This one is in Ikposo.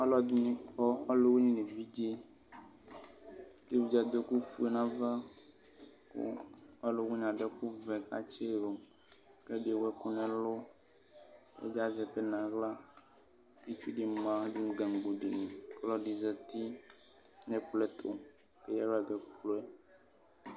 ɔlʋɛdini kɔ ɔlʋwini nʋ evidze kʋ evidze adʋ ɛkʋfue nʋ ava kʋ ɔlʋwini adʋ ɛkʋvɛ kʋ atsidʋ kʋ ɛdi ewʋ ɛkʋ nʋ ɛlʋ kʋ ɛdi azɛ ɛkʋɛdi nʋ aɣla kʋ itsʋdi ma dʋ gangoni kʋ ɔlɔdi zati nʋ ɛkplɔ ɛkʋ kʋ eya aɣla dʋ nʋ ɛkplɔ yɛ